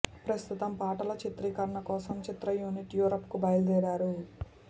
ప్రస్తుతం పాటల చిత్రీకరణ కోసం చిత్ర యూనిట్ యూరప్ కు బయలుదేరారు